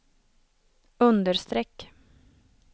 understreck